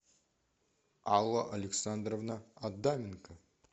алла александровна адаменко